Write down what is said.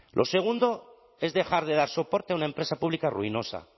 lo segundo es dejar de dar soporte a una empresa pública ruinosa